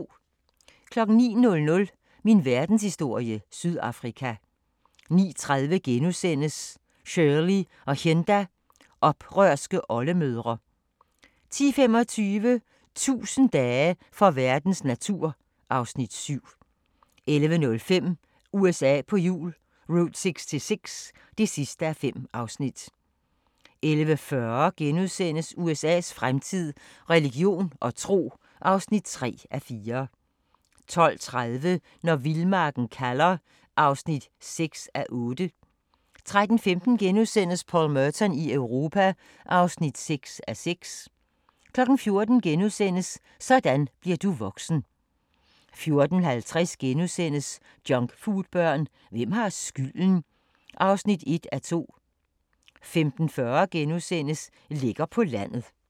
09:00: Min verdenshistorie - Sydafrika 09:30: Shirley og Hinda – oprørske oldemødre * 10:25: 1000 dage for verdens natur (Afs. 7) 11:05: USA på hjul - Route 66 (5:5) 11:40: USA's fremtid – religion og tro (3:4)* 12:30: Når vildmarken kalder (6:8) 13:15: Paul Merton i Europa (6:6)* 14:00: Sådan bliver du voksen * 14:50: Junkfoodbørn – hvem har skylden? (1:2)* 15:40: Lækker på landet *